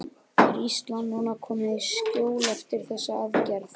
Er Ísland núna komið í skjól eftir þessar aðgerðir?